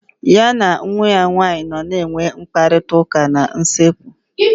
Ya na nwa ya nwaanyị nọ na enwe mkparịta ụka na usekwu